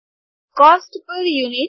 cost per units